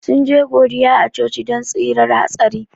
Sun je godiya a coci don tsirar hatsari.